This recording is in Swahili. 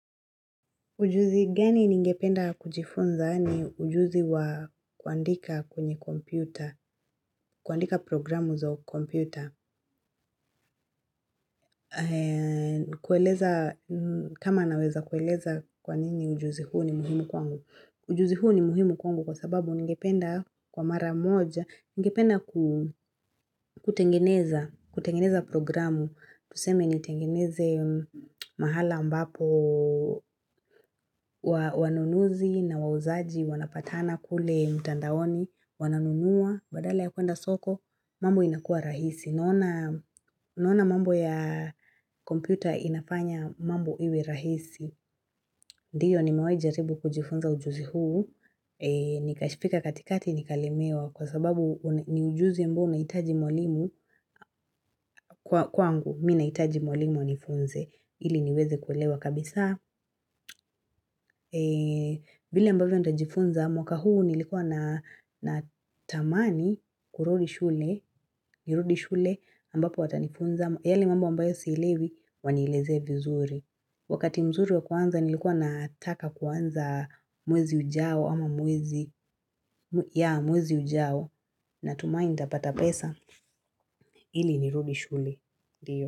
Ujuzi gani ningependa kujifunza ni ujuzi wa kuandika kwenye kompyuta, kuandika programu za u kompyuta. Kueleza kama naweza kueleza kwa nini ujuzi huu ni muhimu kwangu. Ujuzi huo ni muhimu kwangu kwa sababu ningependa kwa mara moja, ningependa ku kutengeneza programu, tuseme nitengeneze mahala mbapo wanunuzi na wauzaji, wanapatana kule mtandaoni, wananunua, badala ya kuenda soko, mambo inakua rahisi. Naona Naona mambo ya kompyuta inafanya mambo iwe rahisi. Ndiyo nimawahi jaribu kujifunza ujuzi huu. Nikashipika katikati nikalemewa kwa sababu ni ujuzi ambao unahitaji mwalimu kwa kwangu. Mimi nahitaji mwalimu anifunze. Ili niweze kuelewa kabisa. Vile mbavyo nitajifunza mwaka huu nilikuwa na natamani kurudi shule. Nirudi shule ambapo watanifunza yale mambo ambayo sielewi wanielezee vizuri. Wakati mzuri wa kuanza nilikuwa nataka kuanza mwezi ujao ama mwezi yeah mwezi ujao natumai nitapata pesa ili nirudi shule. Ndiyo.